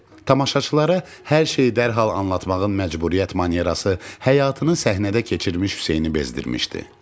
Tamaşaçılara hər şeyi dərhal anlatmağın məcburiyyət manerası həyatını səhnədə keçirmiş Hüseyni bezdirmişdi.